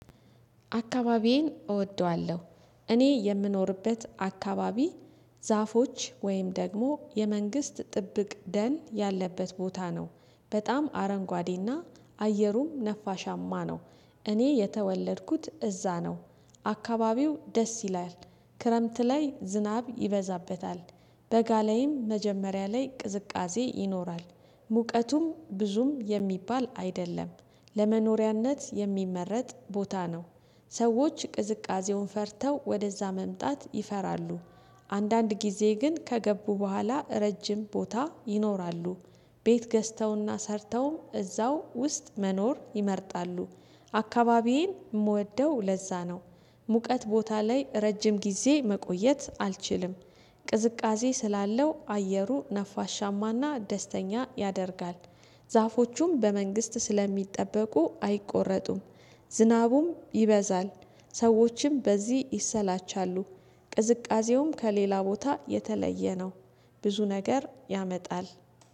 አካባቢዬን እወደዋለሁ። እኔ የምኖርበት አካባቢ ዛፎች ወይም ደግሞ የመንግስት ጥብቅ ደን ያለበት ቦታ ነው። በጣም አረንጓዴና አየሩም ነፋሻማ ነው። እኔ የተወለድኩት እዛ ነው። አካባቢው ደስ ይላል። ክረምት ላይ ዝናብ ይበዛበታል። በጋ ላይም መጀመሪያ ላይ ቅዝቃዜ ይኖራል። ሙቀቱም ብዙም የሚባል አይደለም። ለመኖሪያነት የሚመረጥ ቦታ ነው። ሰዎች ቅዝቃዜውን ፈርተው ወደዛ መምጣት ይፈራሉ። አንዳንድ ጊዜ ግን ከገቡ በኋላ ረጅም ቦታ ይኖራሉ። ቤት ገዝተውና ሰርተውም እዛው ውስጥ መኖር ይመርጣሉ። አካባቢዬን የምወደው ለዛ ነው። ሙቀት ቦታ ላይ ረጅም ጊዜ መቆየት አልችልም። ቅዝቃዜ ስላለው አየሩ ነፋሻማና ደስተኛ ያደርጋል። ዛፎቹም በመንግስት ስለሚጠበቁ አይቆረጡም። ዝናቡም ይበዛል፣ ሰዎችም በዚህ ይሰላቻሉ። ቅዝቃዜውም ከሌላ ቦታ የተለየ ነው፣ ብዙ ነገር ያመጣል።